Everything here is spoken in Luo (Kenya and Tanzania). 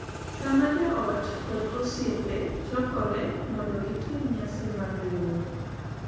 kama joot kod osiepe chokoree mondo gitim nyasi mar riwruok.